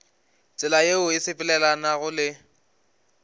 tsela yeo e sepelelanago le